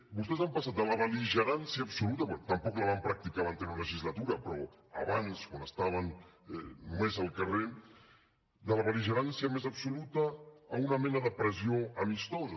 vostès han passat de la bel·ligerància absoluta bé tampoc la van practicar l’anterior legislatura però abans quan estaven només al carrer de la bel·ligerància més absoluta a una mena de pressió amistosa